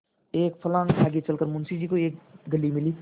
एक फर्लांग आगे चल कर मुंशी जी को एक गली मिली